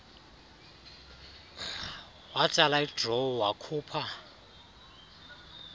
watsala idrawer wakhupha